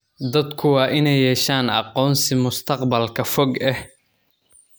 Dadku waa inay yeeshaan aqoonsi mustaqbalka fog ah.